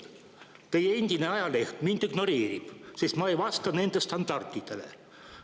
Teie endine ajaleht mind ignoreerib, sest ma ei vasta nende standarditele.